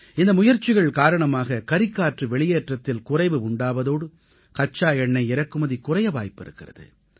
இந்த முயற்சிகள் காரணமாக கரிக்காற்று வெளியேற்றத்தில் குறைவு உண்டாவதோடு கச்சா எண்ணெய் இறக்குமதி குறைய வாய்பிருக்கிறது